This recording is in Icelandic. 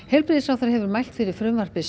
heilbrigðisráðherra hefur mælt fyrir frumvarpi